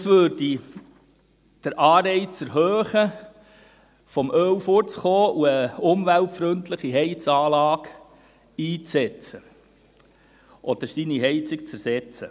Das würde den Anreiz erhöhen, vom Öl wegzukommen, eine umweltfreundliche Heizanlage einzusetzen oder seine Heizung zu ersetzen.